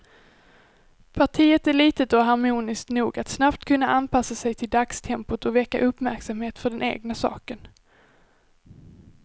Partiet är litet och harmoniskt nog att snabbt kunna anpassa sig till dagstempot och väcka uppmärksamhet för den egna saken.